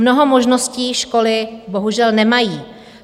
Mnoho možností školy bohužel nemají.